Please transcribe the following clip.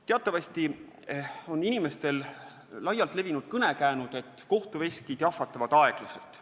Teatavasti on inimeste seas laialt levinud kõnekäänd, et kohtuveskid jahvatavad aeglaselt.